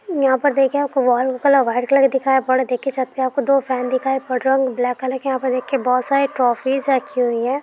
यहाँ पर दिखे वाल कलर वाइट कलर दिखाई दो फैन ब्लैक कलर दिखाई पड़ रहा हैं यहाँ पर बहुत सारी ट्रॉफीज रखी हुई हैं।